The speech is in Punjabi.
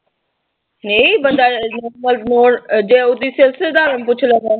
ਨਈਂ ਬੰਦਾ ਸਧਾਰਨ ਪੁੱਛ ਲੈਂਦਾ